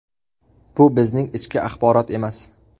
Bu bizning ichki axborot emas.